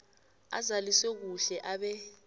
azaliswe kuhle abe